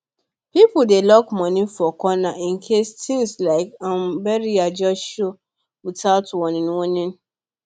people dey lock money for corner in case things like um burial just show without warning warning